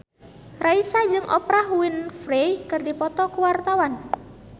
Raisa jeung Oprah Winfrey keur dipoto ku wartawan